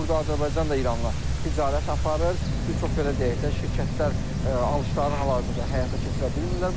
Burada Azərbaycan da İranla ticarət aparır, bir çox belə deyək də, şirkətlər alışlarını hal-hazırda həyata keçirə bilmirlər.